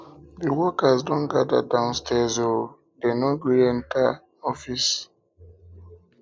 di workers don gather um downstirs o um dey no gree enter gree enter office